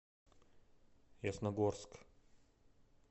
ясногорск